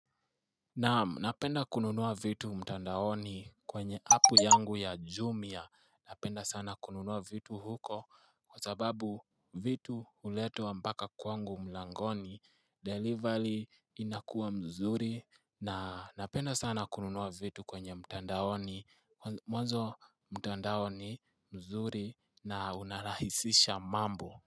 Naam napenda kununua vitu mtandaoni kwenye apu yangu ya Jumia napenda sana kununua vitu huko kwa sababu vitu huletwa mpaka kwangu mlangoni delivery inakua mzuri na napenda sana kununua vitu kwenye mtandaoni mzuri na unarahisisha mambo.